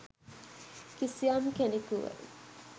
කිසියම් කෙනෙකුව